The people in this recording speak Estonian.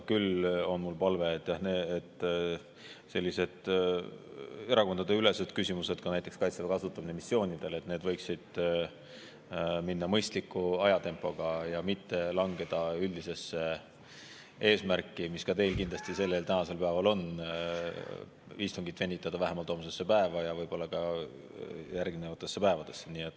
Küll aga on mul palve: sellised erakondadeülesed küsimused, näiteks Kaitseväe kasutamine missioonidel, võiksid minna mõistliku ajatempoga ja mitte langeda üldisesse eesmärki, mis ka teil kindlasti täna on, venitada istungit vähemalt homsesse päeva ja võib-olla ka järgnevatesse päevadesse.